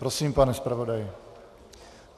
Prosím, pane zpravodaji.